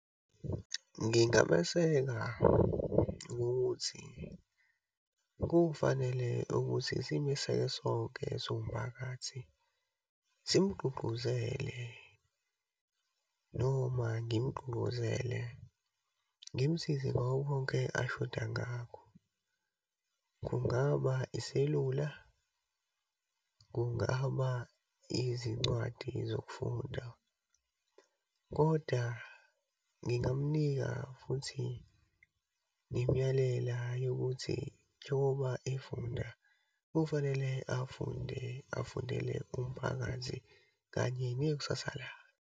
Ngingameseka ngokuthi kufanele ukuthi simeseke sonke siwumphakathi simgqugquzele, noma ngimgqugquzele. Ngimsize ngakho konke ashoda ngakho, kungaba iselula, kungaba izincwadi zokufunda. Kodwa ngingamnika futhi ngimyalela ukuthi njengoba efunda, kufanele afunde afundele umphakathi kanye nekusasa lakhe.